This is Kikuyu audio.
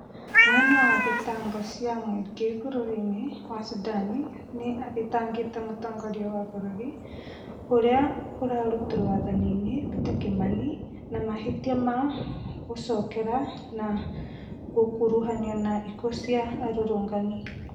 Mũnene wa thitango cia mũingĩ bũrũri-inĩ wa Sudan nĩ athitangĩte mũtongoria wa bũrũri ũrĩa ũrarutirwo wathani-inĩ Peter Kimani na mahĩtia ma gũcogera na gũkuruhanio na ikuũ cia arũrũngani